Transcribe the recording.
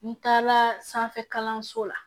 N tagala sanfɛ kalanso la